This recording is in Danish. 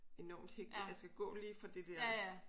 Enormt hektisk jeg skal gå lige fra det dér